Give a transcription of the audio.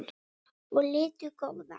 og litu góða.